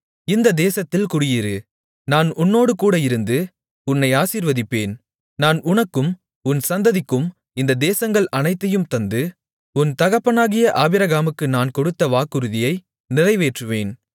இந்தத் தேசத்தில் குடியிரு நான் உன்னோடுகூட இருந்து உன்னை ஆசீர்வதிப்பேன் நான் உனக்கும் உன் சந்ததிக்கும் இந்தத் தேசங்கள் அனைத்தையும் தந்து உன் தகப்பனாகிய ஆபிரகாமுக்கு நான் கொடுத்த வாக்குறுதியை நிறைவேற்றுவேன்